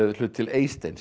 hlut til Eysteins